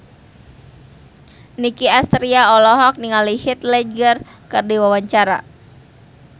Nicky Astria olohok ningali Heath Ledger keur diwawancara